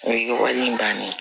N ye wari in daminɛ